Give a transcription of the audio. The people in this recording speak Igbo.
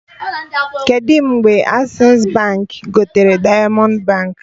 Kedụ mgbe Accessi Baankị gotere Diamond Baankị?